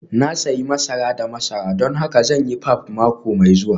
Na sayi masara da masara don haka zan yi pap mako mai zuwa